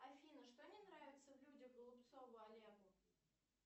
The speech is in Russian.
афина что не нравится в людях голубцову олегу